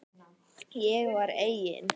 Ég var eigin